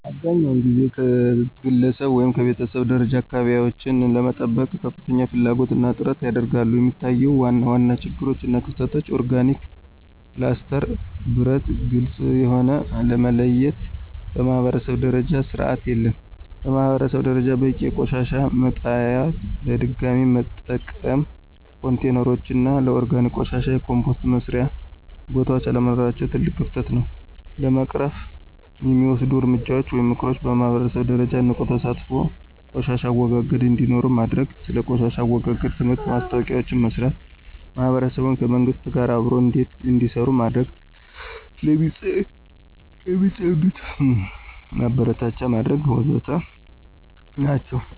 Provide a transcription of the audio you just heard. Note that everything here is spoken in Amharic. አብዛኛውን ጊዜ ከግለሰብ ወይም ከቤተሰብ ደረጃ አካባቢቸውን ለመጠበቅ ከፍተኛ ፍላጎት እና ጥረት ያደርጋሉ፣ የሚታዩት ዋና ዋና ችግሮች እና ክፍተቶች (ኦርጋኒክ፣ ፕላስቲክ፣ ብረት፣ ግልጽ የሆነ) ለመለየት በማኅበረሰብ ደረጃ ስርዓት የለም። በማህበረሰብ ደረጃ በቂ የቆሻሻ መጣሊያዎች፣ ለድገሚ መጠቀም ኮንቴይነሮች እና ለኦርጋኒክ ቆሻሻ የኮምፖስት መስሪያ ቦታዎች አለመኖራቸው ትልቅ ክፍተት ነው። ለመቅረፍ የሚወሰዱ እርምጃዎች (ምክሮች) በማህበረሰብ ደረጃ ንቁ ተሳትፎ ቆሻሻ አወጋገድ እንዴኖረው ማድርግ። ስለ ቆሻሻ አወጋገድ ትምህርትና ማስታወቂያዎችን መስራት። ማህበረሰቡ ከመንግሥት ጋር አብሮ እንዴሰሩ መድረግ። ለሚፅድት ማበረታቻ መድረግ ወዘተ ናቸው።